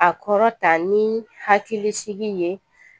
A kɔrɔ ta ni hakilisigi ye